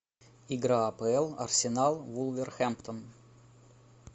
игра апл арсенал вулверхэмптон